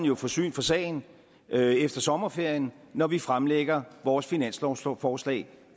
jo få syn for sagen efter sommerferien når vi fremlægger vores finanslovsforslag